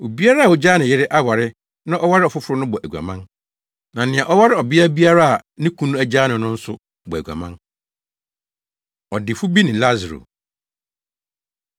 “Obiara a ogyaa ne yere aware na ɔware ɔfoforo no bɔ aguaman; na nea ɔware ɔbea biara a ne kunu agyaa no no nso, bɔ aguaman.” Ɔdefo Bi Ne Lasaro